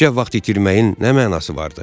Tikişə vaxt itirməyin nə mənası vardı?